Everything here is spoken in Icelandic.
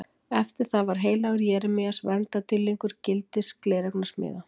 Eftir það varð heilagur Jeremías verndardýrlingur gildis gleraugnasmiða.